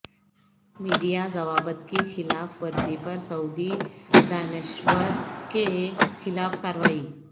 media ضوابط کی خلاف ورزی پر سعودی دانشور کے خلاف کارروائی